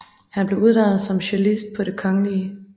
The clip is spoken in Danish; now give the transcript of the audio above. Han blev uddannet som cellist på Det Kgl